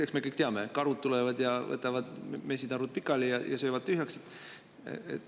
Eks me kõik tea, et karud tulevad ja võtavad mesitarud pikali ja söövad tühjaks.